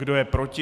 Kdo je proti?